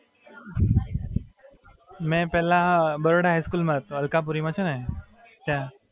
મી પેહલા Baroda high school માં હતો, અલકાપુરી માં છે ને, ત્યાં.